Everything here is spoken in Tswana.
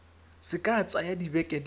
se ka tsaya dibeke di